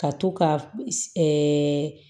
Ka to ka ɛɛ